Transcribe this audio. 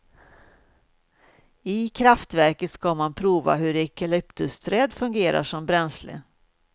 I kraftverket ska man prova hur eukalyptusträd fungerar som bränsle.